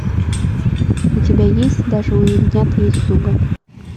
у тебя есть даже у ягнят есть зубы